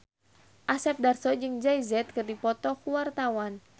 Asep Darso jeung Jay Z keur dipoto ku wartawan